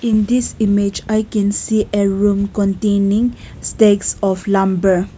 in this image i can see a room containing stacks of lumber.